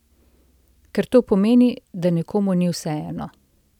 Ker to pomeni, da nekomu ni vseeno.